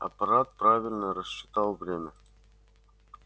аппарат правильно рассчитал время